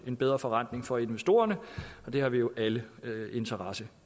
en bedre forrentning for investorerne det har vi jo alle interesse